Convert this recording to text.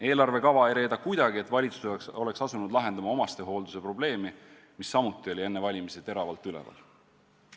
Eelarvekava ei reeda kuidagi, et valitsus oleks asunud lahendama omastehoolduse probleemi, mis samuti oli enne valimisi teravalt üleval.